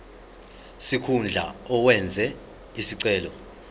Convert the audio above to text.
sikhundla owenze isicelo